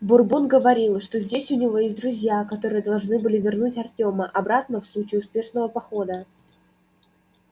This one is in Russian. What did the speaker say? бурбон говорил что здесь у него есть друзья которые должны были вернуть артёма обратно в случае успешного похода